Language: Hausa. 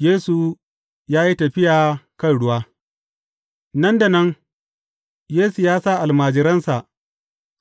Yesu ya yi tafiya kan ruwa Nan da nan Yesu ya sa almajiransa